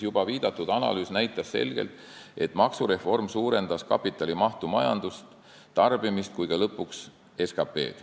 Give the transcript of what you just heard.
Juba viidatud analüüs näitas selgelt, et maksureform suurendas kapitali mahtu majanduses, tarbimist ja ka lõpuks SKT-d.